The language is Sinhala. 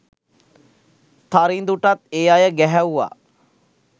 තරිඳුටත් ඒ අය ගැහැව්වා.